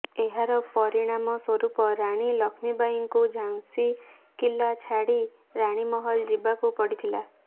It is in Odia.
ଏହାର ପରିଣାମ ସ୍ୱରୂପ ରାଣୀ ଲକ୍ଷ୍ମୀବାଈଙ୍କୁ ଝାନ୍ସୀ କିଲ୍ଲା ଛାଡ଼ି ରାଣୀମହଲ ଯିବାକୁ ପଡ଼ିଥିଲା